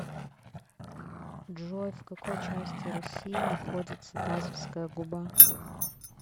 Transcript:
джой в какой части россии находится тазовская губа